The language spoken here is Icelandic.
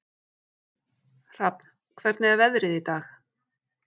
Hrafn, hvernig er veðrið í dag?